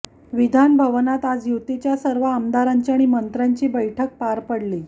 विधान भवनात आज युतीच्या सर्व आमदारांची आणि मंत्र्यांची बैठक पार पडली